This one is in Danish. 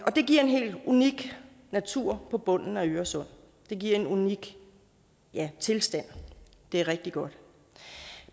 og det giver en helt unik natur på bunden af øresund og det giver en unik tilstand og det er rigtig godt